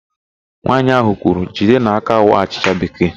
Nwaanyị ahụ kwuru, "jidenụ aka waa achịcha bekee"!